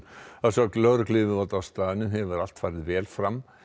að sögn lögregluyfirvalda á staðnum hefur allt farið vel fram